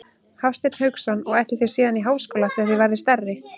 Hafsteinn Hauksson: Og ætlið þið síðan í háskóla þegar þið verðið stærri?